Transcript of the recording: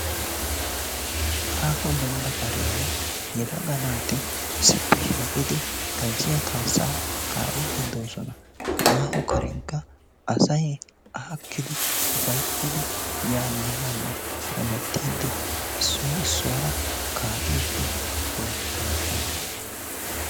Aaho demban karen yelaga naati issipe shiqidi gazziya kaasaa kaa'iidi de'oososna. Ha aaho karenkka asay aakidi ufayttidi yaane haane hemmetidi issoy issuwara kaa'iidi beetoososna.